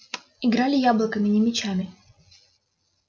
играли яблоками не мячами